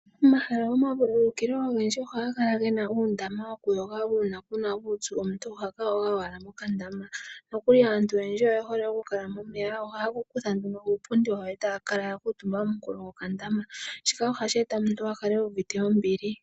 Omahala gomavululukilo ogendji ohaga kala gena uundama wokuyoga. Uuna kuna uupyu omuntu ohaka yoga owala mokandama, nokuli aantu oyendji oye hole oku kala momeya. Ohaya kutha nduno uupundi wawo e taya kala ya kuutumba komunkulo gokandama. Shika ohashi e ta omuntu a kale uuvite ombili.